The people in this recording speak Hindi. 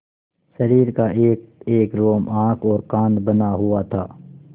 शरीर का एकएक रोम आँख और कान बना हुआ था